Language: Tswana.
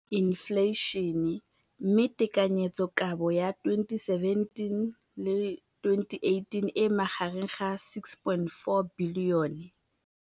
Infleišene, mme tekanyetsokabo ya 2017, 18, e magareng ga R6.4 bilione.